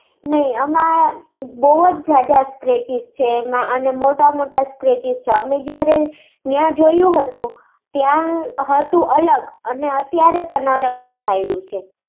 નઈ, આમાં બહુ જ જ્યાદા scratches છે અને મોટા મોટા scratches છે. અમે જયારે ન્યાં જોયું હતું, ત્યા હતું અલગ અને અત્યારે પણ અલગ દેખાયેલું છે